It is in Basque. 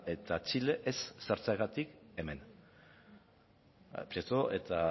eta txile ez sartzeagatik hemen prieto eta